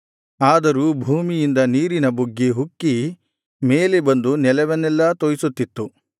ಆದರೂ ಭೂಮಿಯಿಂದ ನೀರಿನ ಬುಗ್ಗೆ ಉಕ್ಕಿ ಮೇಲೆ ಬಂದು ನೆಲವನ್ನೆಲ್ಲಾ ತೋಯಿಸುತ್ತಿದವು